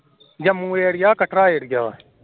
Jammu area Katra area ਵਾ